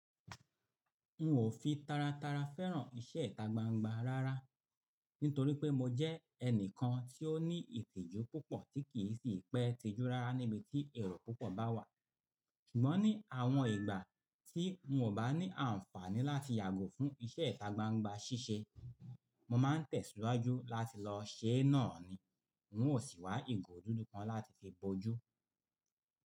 N ò fi taratara fẹ́ràn iṣẹ́ ìta gbangba rárá nítorí pé mo jẹ́ ẹnìkan tí ó ní ìtìjú púpọ̀ tí kì í sì pẹ́ tijú rárá níbi tí èrò púpọ̀ bá wà. Ṣùgbọ́n ní àwọn ìgbà tí n ò bá ní àǹfààní láti yàgò fún iṣẹ́ ìta gbangba ṣíṣe, mo má ń tẹ̀síwájú láti lọ ṣe é náà ni. N ò sì wá ìgò dúdú kan láti fi bọjú.